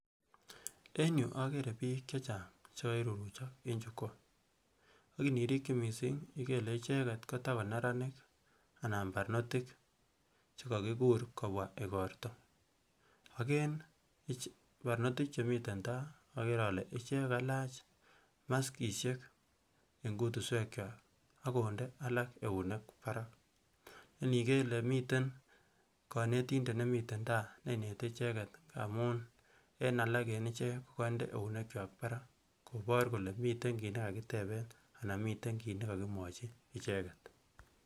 en yuu akere biik chechang chekoiruruchok eng jukwaa ak inirikyi missing ikere ile icheket kotakoneranik anan barnotik chekokikur kobwa igorto ak en barnotiik chemiten taa ikere ile ichek kalach maskisiek eng kutuswek kwak akonde alak eunek barak neiniker ile miten kanetindet nemiten taa neinete icheket amun en alak en ichek kokonde eunek kwak barak kobor kole miten kiy nekakiteben anan miten kit nekakimwochi icheket